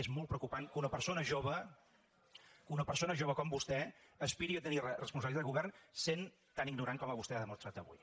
és molt preocupant que una persona jove una persona jove com vostè aspiri a tenir responsabilitats de govern sent tan ignorant com vostè ha demostrat avui